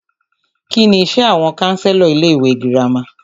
Kínní iṣé àwọn counselor ilé ìwé gírámà?